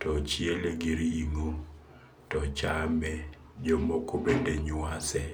to chiele gi ringo to chame jomoko bende nywase